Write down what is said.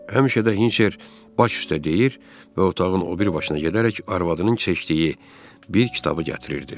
Həmişə də Hinçer baş üstdə deyir və otağın o biri başına gedərək arvadının seçdiyi bir kitabı gətirirdi.